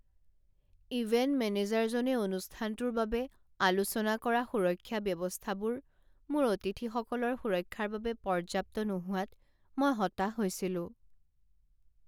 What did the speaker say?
Event মেনেজাৰজনে অনুষ্ঠানটোৰ বাবে আলোচনা কৰা সুৰক্ষা ব্যৱস্থাবোৰ মোৰ অতিথিসকলৰ সুৰক্ষাৰ বাবে পৰ্যাপ্ত নোহোৱাত মই হতাশ হৈছিলো।